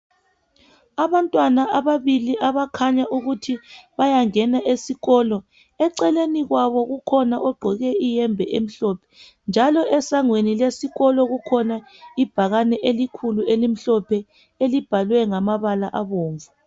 Abantwana ababili abakhanya ukuthi bayangena esikolo. Eceleni kwabo kukhona ogqoke iyembe elimhlophe, njalo esangweni lesikolo kukhona ibhakane elikhulu elimhlophe, elibhalwe ngamabala abomvu.